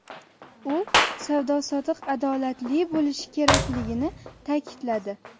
U savdo-sotiq adolatli bo‘lishi kerakligini ta’kidladi.